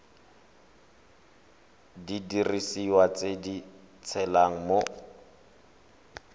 didiriswa tse di tshelang mo